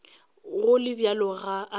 go le bjalo ga a